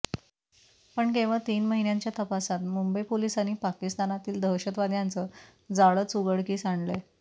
पण केवळ तीन महिन्यांच्या तपासात मुंबई पोलिसांनी पाकिस्तानातील दहशतवाद्यांचं जाळचं उघडकीस आणलंय